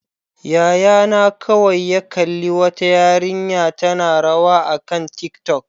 Yayana kawai ya kalli wata yarinya tana rawa akan tiktok.